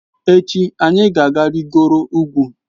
Echi anyị ga-arịgoro ugwu.